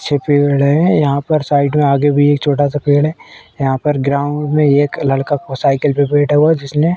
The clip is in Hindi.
अच्छे पेड़ हैं। यहां पर साइड में आगे भी एक छोटा सा पेड़ है। यहां पर ग्राउंड में एक लड़का को साइकिल पर बैठा हुआ है जिसने --